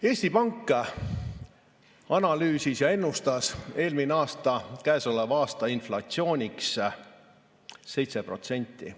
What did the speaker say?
Eesti Pank analüüsis ja ennustas eelmisel aastal käesoleva aasta inflatsiooniks 7%.